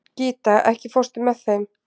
Gíta, ekki fórstu með þeim?